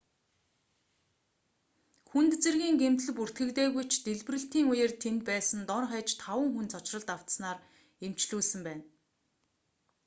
хүнд зэргийн гэмтэл бүртгэгдээгүй ч дэлбэрэлтийн үеэр тэнд байсан дор хаяж таван хүн цочролд автсанаар эмчлүүлсэн байна